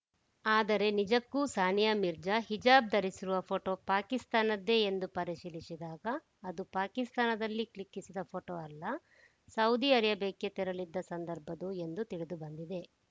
ಆದರೆ ನಿಜಕ್ಕೂ ಸಾನಿಯಾ ಮಿರ್ಜಾ ಹಿಜಾಬ್‌ ಧರಿಸಿರುವ ಫೋಟೋ ಪಾಕಿಸ್ತಾನದ್ದೇ ಎಂದು ಪರಿಶೀಲಿಸಿದಾಗ ಅದು ಪಾಕಿಸ್ತಾನದಲ್ಲಿ ಕ್ಲಿಕ್ಕಿಸಿದ ಫೋಟೋ ಅಲ್ಲ ಸೌದಿ ಅರೇಬಿಯಾಕ್ಕೆ ತೆರಳಿದ್ದ ಸಂದರ್ಭದ್ದು ಎಂದು ತಿಳಿದುಬಂದಿದೆ